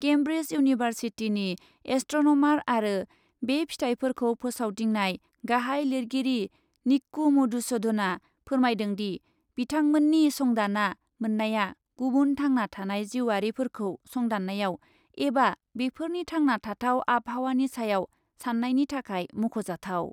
केमब्रिस इउनिभार्सिटिनि एस्ट्रनमार आरो बे फिथाइफोरखौ फोसावदिंनाय गाहाय लिरगिरि निक्कु मधुसुधनआ फोरमायदोंदि, बिथांमोन्नि संदान्ना मोन्नाया गुबुन थांना थानाय जिउआरिफोरखौ संदान्नायाव एबा बेफोरनि थांना थाथाव आबहावानि सायाव सान्नायनि थाखाय मख'जाथाव।